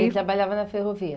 Ele trabalhava na ferrovia.